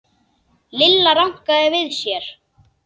Lilla rankaði við sér.